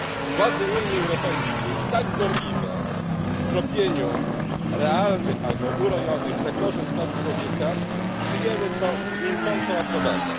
Władze Unii Europejskiej tak gorliwe w tropieniu realnych lub urojonych zagrożeń praw człowieka przyjęły to z milczącą aprobatą.